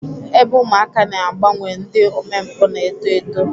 Ebe ụmụaka na-agbanwe ndị omempụ na-eto eto.